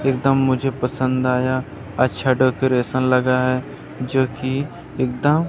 एकदम मुझे पसन्द आया अच्छा डेकोरेशन लगा है जो कि एकदम--